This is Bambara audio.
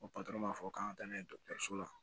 O m'a fɔ k'an ka taa n'a ye dɔgɔtɔrɔso la